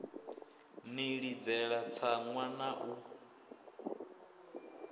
ḽi ḽidzela tsaṅwa na u